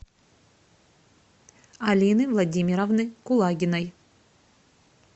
алины владимировны кулагиной